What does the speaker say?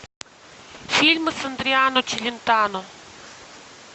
фильмы с адриано челентано